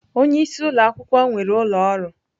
Onye isi ụlọ akwụkwọ nwere ụlọ ọrụ.